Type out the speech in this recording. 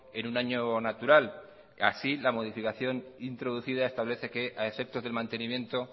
en un año natural y así la modificación introducida establece que a efectos de mantenimiento